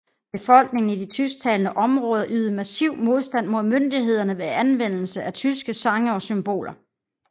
Befolkningen i de tysktalende områder ydede passiv modstand mod myndighederne ved anvendelse af tyske sange og symboler